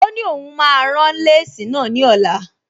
Ó ní òun máa rán léèsì náà ní ọ̀la